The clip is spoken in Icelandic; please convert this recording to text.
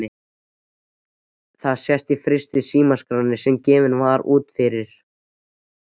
Það sést í fyrstu símaskránni sem gefin var út fyrir